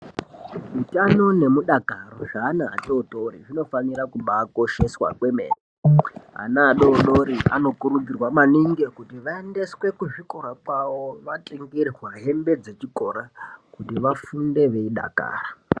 Utano nemudakaro zvaana atotori, zvinofanira kubaakosheswa kwemene. Ana adodori anokurudzirwa maningi kuti vaendeswe kuzvikora kwavo vatengerwa hembe dzechikora, kuti vafunde veidakara.